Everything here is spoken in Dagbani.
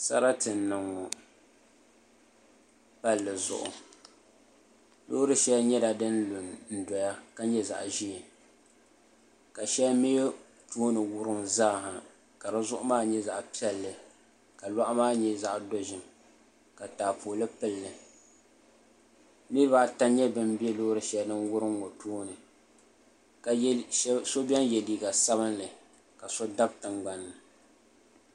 Sarati n niŋ ŋɔ palli zuɣu loori shɛli nyɛla din lu n doya ka nyɛ zaɣ ʒiɛ ka shɛli mii tooni wurim zaaha ka di zuɣu maa nyɛ zaɣ piɛlli ka loɣu maa nyɛ zaɣ dozim ka taapooli pilli niraba ata n nyɛ bin bɛ loori shɛli din wurim ŋɔ puuni so biɛni yɛ liiga sabinli ka so dabi tingbanni